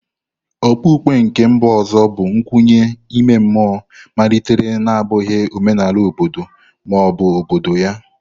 Okpukpe nke mba ọzọ bụ nkwenye ime mmụọ malitere na-abụghị omenala obodo ma ọ bụ obodo ya.